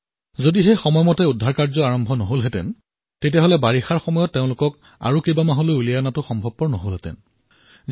যদি সুৰক্ষা কাৰ্য সময়মতে নহলহেঁতেন তেন্তে বাৰিষাৰ ঋতুটোত তেওঁলোকক কেইবা মাহলৈও ওলোৱাৰ বাবে সম্ভৱ নহলহেঁতেন